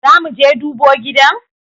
Zamuje dubo gidan?